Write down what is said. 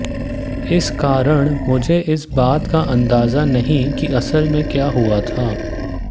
इस कारण मुझे इस बात का अंदाजा नहीं कि असल में क्या हुआ था